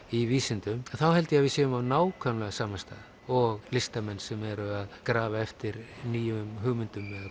í vísindum þá held ég að við séum á nákvæmlega sama stað og listamenn sem eru að grafa eftir nýjum hugmyndum